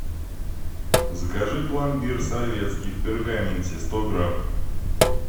закажи пломбир советский в пергаменте сто грамм